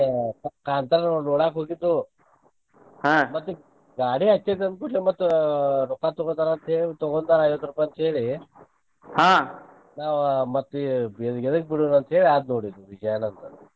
ಅದ ಕಾಂತಾರನ ನೋಡಾಕ್ ಹೋಗಿದ್ದು ಮತ್ತ್ ಗಾಡಿ ಹಚ್ಚಲಿತ್ ಅಂಥೇಳಿ ರೊಕ್ಕಾ ತೂಗೋತಾರ ಅಂತ ಹೇಳಿ ತುಗೊಂಡ್ರ ಐವತ್ ರೂಪಾಯಿ ಹೇಳಿ ನಾ ಮತ್ ಈಗ ಎದಕ್ಕ ಬಿಡೋದ್ ಅಂತ ಹೇಳಿ ಆತ್ ನೋಡ ವಿಜಯಾನಂದ